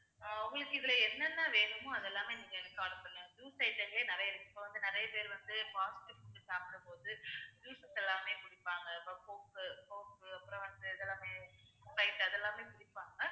உங்களுக்கு இதுல என்ன என்ன வேணுமோ அது எல்லாமே நீங்க எனக்கு call பண்ணுங்க juice item லே நிறைய இருக்கு இப்ப வந்து நிறைய பேர் வந்து fast food சாப்பிடும்போது juice எல்லாமே குடிப்பாங்க அப்புறம் coke உ coke உ அப்புறம் வந்து இது எல்லாமே sprite அது எல்லாமே குடிப்பாங்க